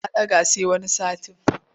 Ta ɗaga sai wani satin.